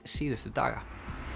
síðustu daga